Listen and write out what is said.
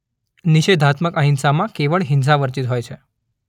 નિષેધાત્મક અહિંસામાં કેવળ્ હિંસા વર્જિત હોય છે